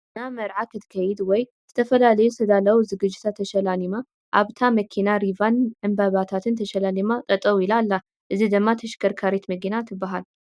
ናይ መርዓ ክትከይድ ወይ ዝተፈላዩ ዝተዳለው ዝግጅታት ተሻላሊማ ኣብታ መኪና ሪቫን ን ዕንበባታት ተሻላሊማ ጠጠው ኢላ ኣላ ።እዚ ድማ ተሽከርካሪት መኪና ትባሃል።